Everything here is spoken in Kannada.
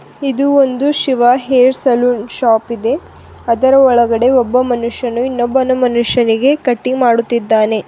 ಇದು ಒಂದು ಶಿವ ಹೇರ್ ಸಲೂನ್ ಶಾಪ್ ಇದೆ ಅದರ್ ಒಳಗಡೆ ಒಬ್ಬ ಮನುಷ್ಯನು ಇನ್ನೊಬ್ಬನು ಮನುಷ್ಯನಿಗೆ ಕಟಿಂಗ್ ಮಾಡುತ್ತಿದ್ದಾನೆ.